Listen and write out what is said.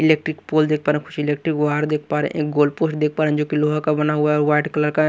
Electric pole देख पा रहे हैं कुछ इलेक्ट्रिक वार देख पा रहे हैं एक गोल पोस्ट देख पा रहे हैं जो कि लोहा का बना हुआ है और व्हाईट कलर का है।